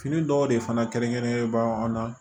Fini dɔw de fana kɛrɛnkɛrɛnnenba an na